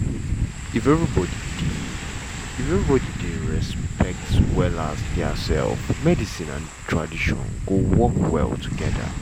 if everybody dey if everybody dey respect um diasef medicine and tradition go work well togeda.